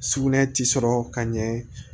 Sugunɛ ti sɔrɔ ka ɲɛ